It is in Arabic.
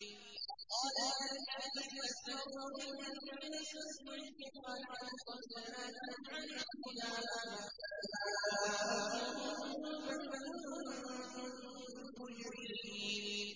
قَالَ الَّذِينَ اسْتَكْبَرُوا لِلَّذِينَ اسْتُضْعِفُوا أَنَحْنُ صَدَدْنَاكُمْ عَنِ الْهُدَىٰ بَعْدَ إِذْ جَاءَكُم ۖ بَلْ كُنتُم مُّجْرِمِينَ